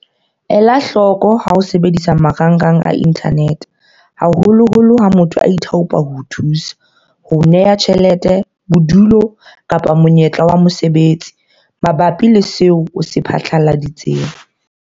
Elahloko ha o sebedisa marangrang a inthanete, haholoholo ha motho a ithaopa ho o thusa, ho o neha tjhelete, bodulo kapa monyetla wa mosebetsi mabapi le seo o se phatlaladitseng.